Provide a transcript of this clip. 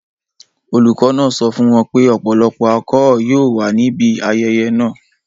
Olùkọ́ náà sọ fún wọn pé ọ̀pọ̀lọpọ̀ alchol yóò wà níbi ayẹyẹ náà.